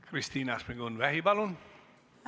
Kristina Šmigun-Vähi, palun!